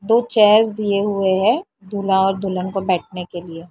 दो चेयर्स दिए हुए हैं दूल्हा और दुल्हन को बैठने के लिए --